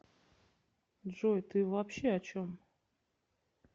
джой ты вообще о чем